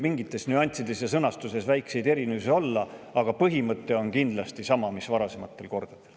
Mingites nüanssides ja mõnes sõnastuses võib väikeseid erinevusi olla, aga põhimõte on kindlasti sama mis varasematel kordadel.